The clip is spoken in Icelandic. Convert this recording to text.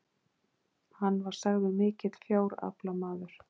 hann var sagður mikill fjáraflamaður